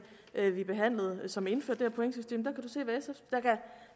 vi behandlede som indførte pointsystem der